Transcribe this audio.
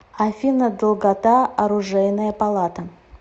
афина долгота оружейная палата